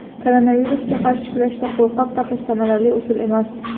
Koronavirusga qarshi kurashda qo‘lqop taqish samarali usul emas.